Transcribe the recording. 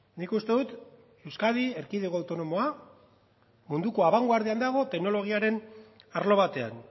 nik uste dut euskadi erkidego autonomoa munduko abanguardian dago teknologiaren arlo batean